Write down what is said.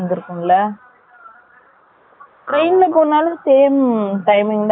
Train ல போனாலும், same , timing தான் ஆகுமா?